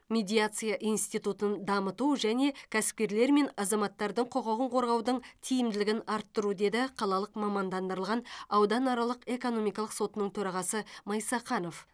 медиация институтын дамыту және кәсіпкерлер мен азаматтардың құқығын қорғаудың тиімділігін арттыру деді қалалық мамандандырылған ауданаралық экономикалық сотының төрағасы майсақанов